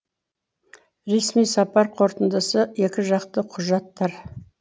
ресми сапар қорытындысы екіжақты құжаттар